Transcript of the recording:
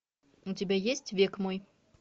у тебя есть век мой